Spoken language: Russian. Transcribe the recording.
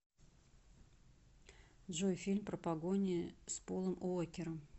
джой фильм про погони с полом уокером